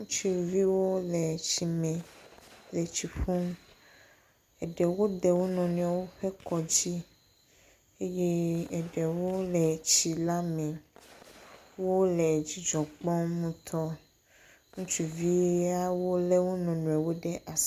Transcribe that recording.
Ŋutsuviwo le tsime le tsi ƒum. Eɖewo de wo nɔnɔewo ƒe dzi eye eɖewo le tsi la me. Wole dzidzɔ kpɔm ŋutɔ. Ŋutsuviawo lé wo nɔnɔewo le asi.